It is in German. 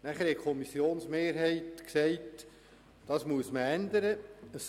» Nachher hat die Kommissionsmehrheit gesagt, dass man das ändern müsse.